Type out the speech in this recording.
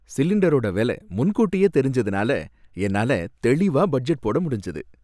சிலிண்டரோட வில முன்கூட்டியே தெரிஞ்சதுனால என்னால தெளிவா பட்ஜெட் போட முடிஞ்சது.